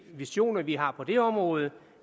visioner vi har på det område